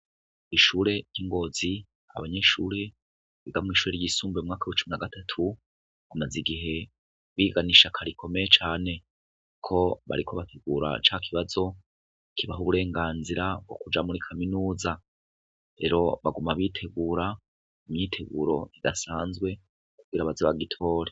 Ishure ryi ngozi, abanyeshure biga mu mwaka wisumbuye mu mwaka wa cumi na gatatu, bamaze igihe biga n'ishaka rikomeye cane ko bariko barategura ca kibazo kibaha uburenganzira bwo muri kuja muri kaminuza, rero baguma bitegura, imyiteguro idasanzwe kugira bazogitore.